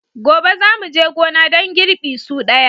Gobe za mu je gona don girbi su daya.